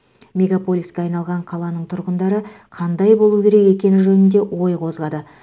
мегаполиске айналған қаланың тұрғындары қандай болуы керек екені жөнінде ой қозғады